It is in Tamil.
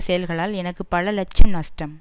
செயல்களால் எனக்கு பல லட்சம் நஷ்டம்